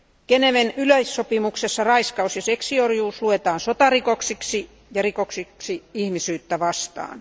Geneven yleissopimuksessa raiskaus ja seksiorjuus luetaan sotarikoksiksi ja rikoksiksi ihmisyyttä vastaan.